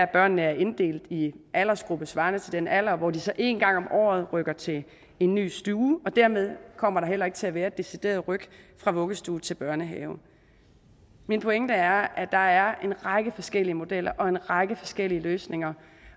børnene er inddelt i aldersgrupper svarende til deres alder og hvor de så en gang om året rykker til en ny stue og dermed kommer der heller ikke til at være et decideret ryk fra vuggestue til børnehave min pointe er at der er en række forskellige modeller og en række forskellige løsninger